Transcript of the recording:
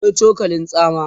akwai cokalin tsama